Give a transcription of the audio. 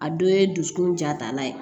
A dɔ ye dusukun jatala ye